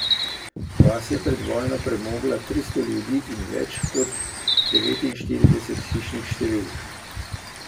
Vas je pred vojno premogla tristo ljudi in več kot devetinštirideset hišnih številk.